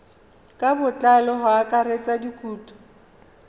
ka botlalo go akaretsa dikhoutu